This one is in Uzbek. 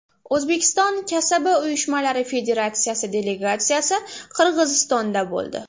O‘zbekiston kasaba uyushmalari Federatsiyasi delegatsiyasi Qirg‘izistonda bo‘ldi.